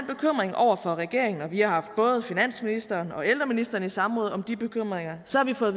over for regeringen og vi har haft både finansministeren og ældreministeren i samråd om de bekymringer så har vi fået